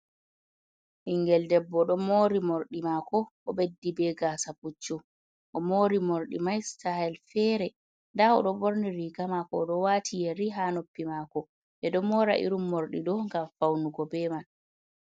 Ɓingel debbo don mori mordi mako o beddi be gasa puccu, o mori mordi mai sitayel fere nda o ɗo borni riga mako oɗo wati yeri ha noppi mako, ɓeɗo mora irin morɗi ɗo gam faunugo be man.